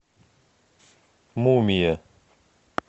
мумия